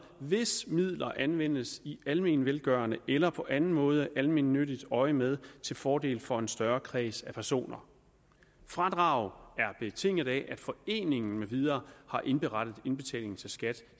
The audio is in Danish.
hvis midler anvendes i almenvelgørende eller på anden måde almennyttigt øjemed til fordel for en større kreds af personer fradrag er betinget af at foreningen med videre har indberettet indbetalingen til skat